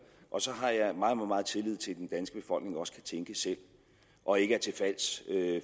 og så har jeg meget meget tillid til at den danske befolkning også kan tænke selv og ikke er til fals